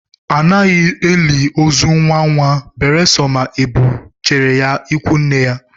Anaghị eli ozu nnwa nnwa beresọ ma e bu jere ya ikwu nne ya